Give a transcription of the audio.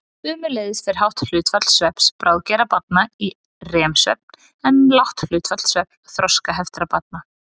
Sömuleiðis fer hátt hlutfall svefns bráðgerra barna í REM-svefn en lágt hlutfall svefns þroskaheftra barna.